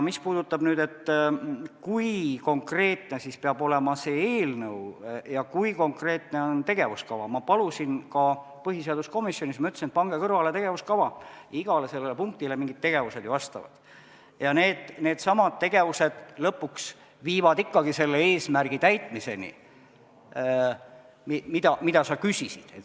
Mis puudutab seda, kui konkreetne peab olema see eelnõu ja kui konkreetne on tegevuskava, siis ma palusin ka põhiseaduskomisjonis, et võtke kõrvale tegevuskava, igale punktile mingid tegevused ju vastavad ja needsamad tegevused lõpuks viivad ikkagi selle eesmärgi täitmiseni, mille kohta sa küsisid.